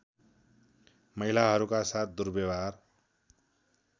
महिलाहरूका साथ दुर्व्यवहार